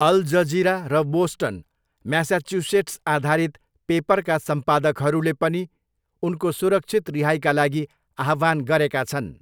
All Jazeera र Boston, Massachusetts आधारित पेपरका सम्पादकहरूले पनि उनको सुरक्षित रिहाइका लागि आह्वान गरेका छन्।